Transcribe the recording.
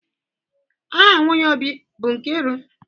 Aha nwunye Obi abụ Nkiru?